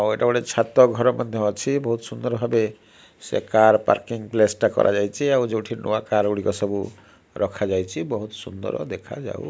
ଆଉ ଏଇଟା ଗୋଟେ ଛାତ ଘର ମଧ୍ୟ ଅଛି। ବହୁତ ସୁନ୍ଦର ଭାବେ ସେ କାର ପାର୍କିଂ ପ୍ଲେସ ଟା କରାଯାଇଚି ଆଉ ଯୋଉଠି ନୂଆ କାର ଗୁଡ଼ିକ ସବୁ ରଖା ଯାଇଛି। ବହୁତ ସୁନ୍ଦର ଦେଖାଯାଉ --